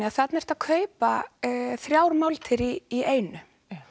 að þarna ertu að kaupa þrjár máltíðir í einu